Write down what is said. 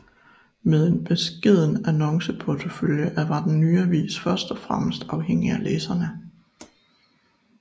Med en beskeden annonceportefølje var den nye avis først og fremmest afhængig af læserne